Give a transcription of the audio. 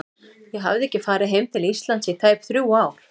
Ég hafði ekki farið heim til Íslands í tæp þrjú ár.